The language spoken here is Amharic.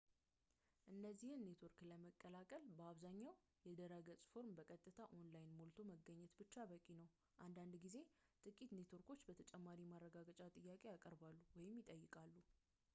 እነዚህን ኔትወርክ ለመቀላቀል በአብዛኛው የድረገፅ ፎርም በቀጥታ online ሞልቶ መገኘት ብቻ በቂ ነው፤ አንዳንድ ጊዜ ጥቂት ኔትወርኮች ተጨማሪ ማረጋገጫ ጥያቄ ያቀርባሉ ወይም ይጠይቃሉ